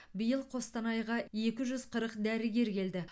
биыл қостанайға екі жүз қырық дәрігер келді